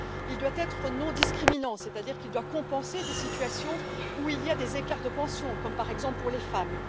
Il doit être non discriminant, c'est à dire qu'il doit compenser des situations où il y a des écarts de pension, comme par exemple pour les femmes.